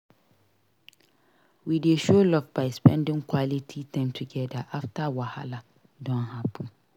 We dey show love by spending quality time together after wahala don happen.